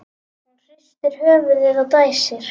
Hún hristir höfuðið og dæsir.